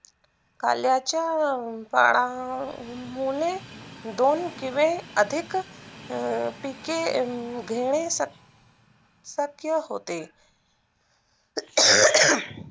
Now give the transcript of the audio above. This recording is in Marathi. काल्याचा पानामुळे दोन किव्हे अधिक पिके घेणे शक्य होते